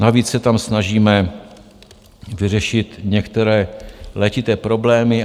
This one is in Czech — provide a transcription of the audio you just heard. Navíc se tam snažíme vyřešit některé letité problémy.